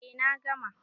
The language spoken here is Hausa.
Eh na gama.